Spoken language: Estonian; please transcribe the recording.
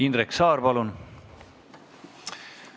Indrek Saar, palun!